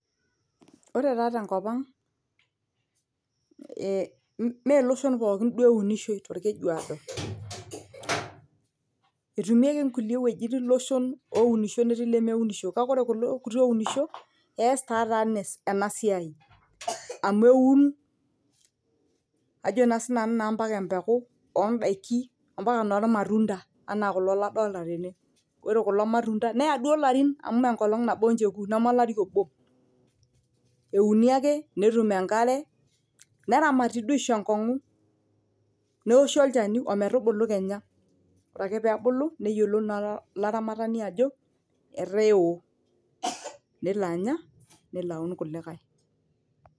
Ore taa tenkop ang' ime iloshon pookin duo eunishoi tolkeju aodo, etumieki kulie wuejitin iloshon ounisho netii ilemeunisho, kake ore kulo kuti ounisho eeta ninye ena siai, amu eun ajo naa sii nanu mpaka empeku oodaiki mpaka enoolmatunda, anaa kulo kadolta tene, ore kulo matunda neya duo amu enkolong' nabo ninche eku neme olari obo, euni ake netum enkare, neramati duo aisho enkongu, neoshi olchani ometubulu Kenya. Ore ake peebulu neyiolou olaramatani ajo etaa eo, nelo Anya nelo aun kulikae.